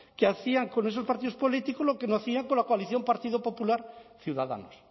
que hacían con esos partidos políticos lo que no hacían con la coalición partido popular ciudadanos